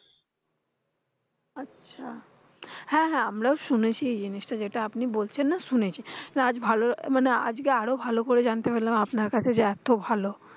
আচ্ছা হ্যাঁ হ্যাঁ আমরাও শুনেছি জিনিসটা যেটা আপনি বলছেন না শুনেছি। না আজ ভালো মানে আজকে আরো ভালো করে যানতে পেলাম আপনার কাছে যে এত ভালো।